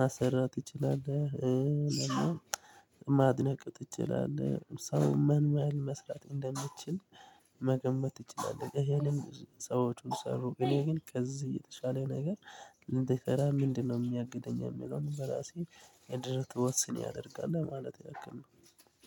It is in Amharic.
ማሰራት ትችላለህ? ማድነቅ ትችላለህ ሰው መንመል መስራት እንደምትችል መገመት ትችላለህ። ያለን ሰዎችን ሰሩ እኔ ግን ከዚህ እየተሻለ ነገር። ልእንድሰራ ምንድነው? የሚያግደኝ የሚለውን በራሴ የድርት ወስን ያደርጋል ለማለት ያክል ነው።